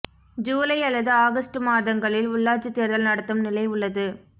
ஜூலை அல்லது ஆகஸ்ட் மாதங்களில் உள்ளாட்சித் தேர்தல் நடத்தும் நிலை உள்ளது